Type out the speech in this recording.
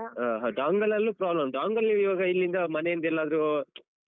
ಹಾ ಹಾ dongle ಲ್ಲೂ problem ಉಂಟಾ dongle ಅಲ್ಲಿ ಈವಾಗ ಇಲ್ಲಿಂದ ಮನೆಯಿಂದೆಲ್ಲಾದ್ರು